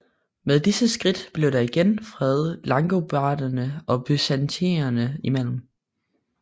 Med disse skridt blev der igen fred langobarderne og byzantinerne imellem